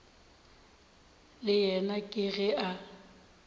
le yena ke ge a